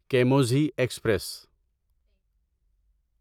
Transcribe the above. کیموزہی express